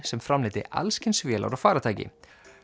sem framleiddi alls kyns vélar og faratæki